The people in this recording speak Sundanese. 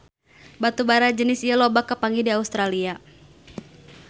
Batu bara jenis ieu loba kapanggih di Australia